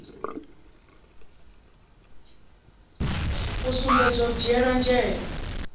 u sumbedza u dzhiele nzhele